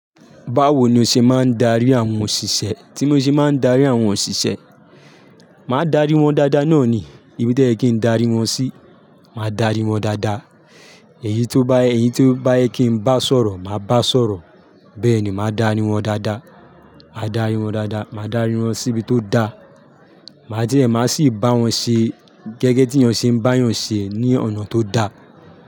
Báwo ni o ṣe máa ń darí àwọn òṣìṣẹ́? Tí mo ṣe máa ń darí àwọn òṣìṣẹ́, máa darí wọn dáadáa náà ni ibi to yẹ kí ń darí wọn sí, máa darí wọn dáadáa. Èyí tó bá, èyí tó bá yẹ kí n bá sọ̀rọ̀, màá bá sọ̀rọ̀. Bẹ́ẹ̀ ni, máa darí wọn dáadáa, máa darí wọn dáadáa, máa darí wọn síbi tó da. Màá jẹ̀ẹ́, màá sì bá wọn ṣe gẹ́gẹ́ tí ènìyàn ṣe ń bá ènìyàn ṣe ní ọ̀nà tó da.